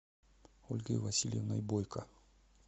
ольгой васильевной бойко